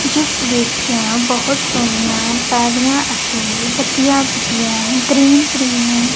ਜਿਸ ਵਿੱਚ ਬਹੁਤ ਸੋਹਣੀਆਂ ਪਾਦੀਆਂ ਅਤੇ ਵਧੀਆ ਵਧੀਆ ਗ੍ਰੀਨ ਗ੍ਰੀਨ--